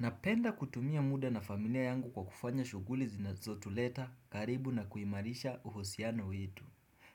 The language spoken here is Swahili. Napenda kutumia muda na familia yangu kwa kufanya shughuli zinazotuleta karibu na kuimarisha uhusiano wetu.